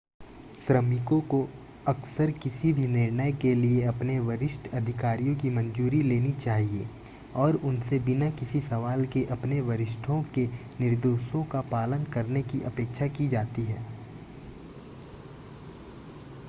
श्रमिकों को अक्सर किसी भी निर्णय के लिए अपने वरिष्ठ अधिकारियों की मंजूरी लेनी चाहिए और उनसे बिना किसी सवाल के अपने वरिष्ठों के निर्देशों का पालन करने की अपेक्षा की जाती है